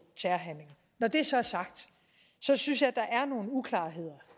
terrorhandlinger når det så er sagt synes jeg der er nogle uklarheder